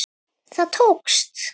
Það tókst!